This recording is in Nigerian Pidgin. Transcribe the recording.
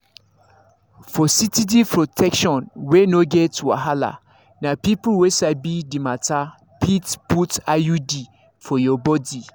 for steady protection wey no get wahala na people wey sabi the matter fit put iud for your body.